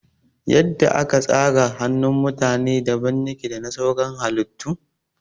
Yadda aka zara yatsun mutane daban yake dana sauran halittun